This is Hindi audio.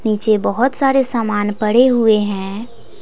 नीचे बहुत सारे सामान पड़े हुए हैं।